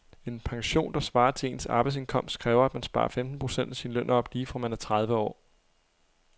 En pension, der svarer til ens arbejdsindkomst, kræver at man sparer femten procent af sin løn op lige fra man er tredive år.